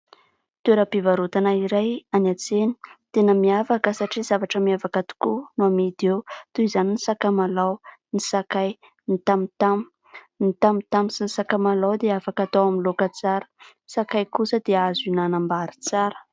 Toeram-pivarotana iray any an-tsena. Tena miavaka satria zavatra miavaka tokoa no amidy eo. Toy izany ny sakamalao, ny sakay, ny tamotamo. Ny tamotamo sy ny sakamalao dia afaka atao amin'ny loaka tsara. Sakay kosa dia azo hinanam-bary tsara.